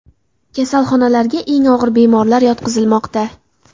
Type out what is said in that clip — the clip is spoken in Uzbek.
Kasalxonalarga eng og‘ir bemorlar yotqizilmoqda .